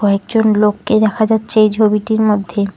কয়েকজন লোককে দেখা যাচ্ছে এই ছবিটির মধ্যে।